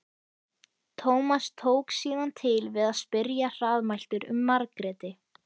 Tómas tók síðan til við að spyrja hraðmæltur um Margréti.